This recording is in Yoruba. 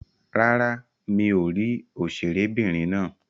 Rárá, mi ò rí òṣèré'bìnrin náà.